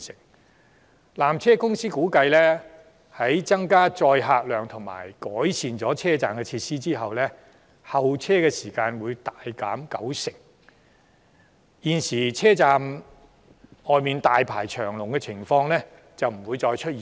據纜車公司估計，在增加載客量及改善車站設施後，候車時間將會大幅縮短九成，現時車站外大排長龍的情況將不會再出現。